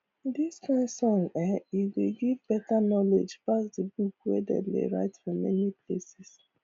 this kain songs[um]e dey give better knowledge pass the books wey dem dey write for many places